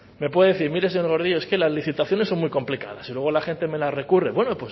me puede decir mire señor gordillo es que las licitaciones son muy complicadas y luego la gente me las recurre bueno